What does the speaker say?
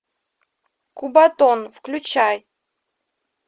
кубатон включай